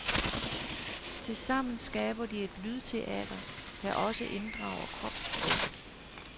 Tilsammen skaber de et lydteater, der også inddrager kropssproget.